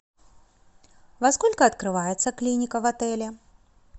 во сколько открывается клиника в отеле